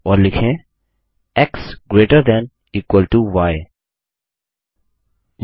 और लिखें x greater than equal to य